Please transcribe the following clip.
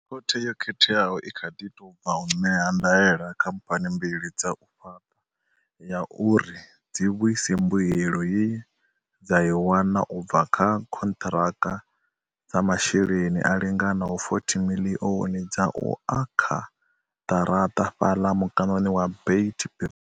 Khothe yo khetheaho i kha ḓi tou bva u ṋea ndaela khamphani mbili dza u fhaṱa ya uri dzi vhuise mbuelo ye dza i wana u bva kha khonṱhiraka dza masheleni a linganaho R40 miḽioni dza u akha ḓaraṱa fhaḽa mukanoni wa Beit Bridge.